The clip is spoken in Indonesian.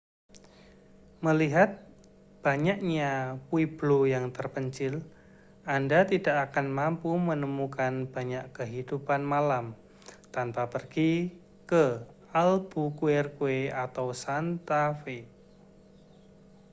melihat banyaknya pueblo yang terpencil anda tidak akan mampu menemukan banyak kehidupan malam tanpa pergi ke albuquerque atau santa fe